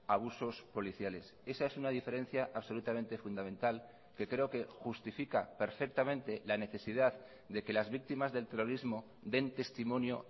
abusos policiales esa es una diferencia absolutamente fundamental que creo que justifica perfectamente la necesidad de que las víctimas del terrorismo den testimonio